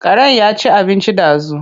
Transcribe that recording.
Karen ya ci abinci ɗazu.